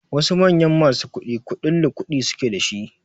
Wasu manyan masu kuɗi kuɗin lukuɗi suke da shi